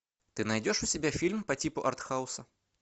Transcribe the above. ты найдешь у себя фильм по типу артхауса